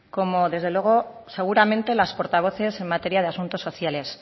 como desde luego seguramente las portavoces en materia de asuntos sociales